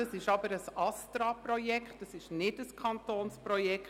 Das ist aber ein Projekt des ASTRA, das ist kein Kantonsprojekt.